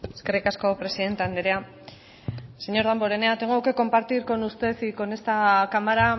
eskerrik asko presidente andrea señor damborenea tengo que compartir con usted y con esta cámara